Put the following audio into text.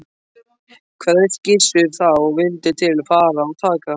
Kveðst Gissur þá vildu til fara og taka